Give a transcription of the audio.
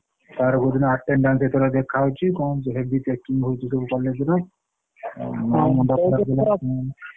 Sir କହୁଥିଲେ attendance ତୋର ଦେଖା ହେଇଛି କଣ ହେଇଛି heavy checking ହଉଛି ସବୁ college ର ଆଉ ମୋ ମୁଣ୍ଡ ଖରାପ ହେଲାଣି କୋଉଦିନ ତୋର ଅଛି?